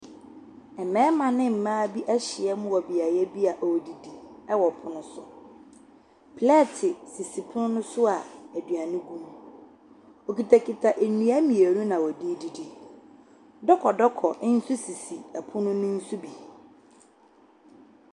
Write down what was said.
Ɛmɛɛma ne ɛmmaa bi ehyiam wɔ biaɛ yedidi ɛwɔ ɛpono so. Plɛɛti sisi ɛpon no so a eduani gu mu. Wokitakita ndua mienu na wɔdi eedidi. Dɔkɔdɔkɔ nso sisi ɛpono no so bi.